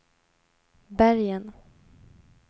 Bergen